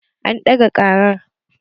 An ɗaga ƙarar